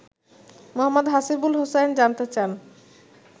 মো: হাসিবুল হোসাইন জানতে চান